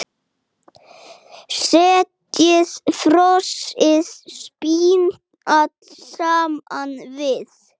Setjið frosið spínat saman við.